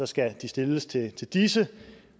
skal det stilles til disse